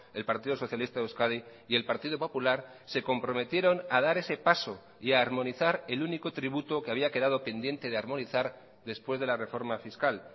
el partido socialista de euskadi y el partido popular se comprometieron a dar ese paso y a armonizar el único tributo que había quedado pendiente de armonizar después de la reforma fiscal